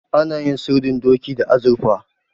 Ana yin sirdin doki da azurfa.